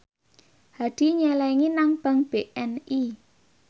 Hadi nyelengi nang bank BNI